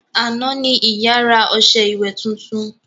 Àná ní ìyá rà ọṣẹ ìwẹ̀ titun